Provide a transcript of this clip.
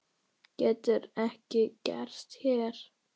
Getur ekki gerst hér.